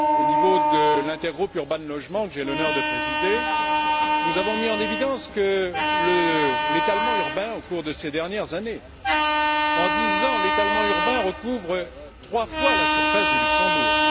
Au niveau de l'Intergroupe Urban Logement que j'ai l'honneur de présider, nous avons mis en évidence l'étalement urbain au cours de ces dernières années en dix ans, l'étalement urbain recouvre trois fois la surface du Luxembourg.